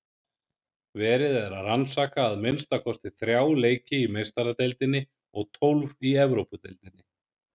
Verið er að rannsaka að minnsta kosti þrjá leiki í Meistaradeildinni og tólf í Evrópudeildinni.